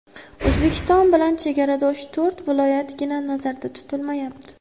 O‘zbekiston bilan chegaradosh to‘rt viloyatgina nazarda tutilmayapti.